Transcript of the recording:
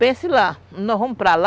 Pense lá, nós vamos para lá,